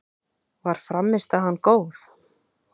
Var frammistaðan góð?